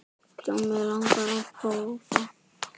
Já, mig langar að prófa.